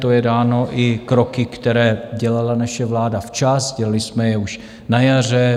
To je dáno i kroky, které dělala naše vláda včas, dělali jsme je už na jaře.